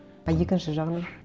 а екінші жағынан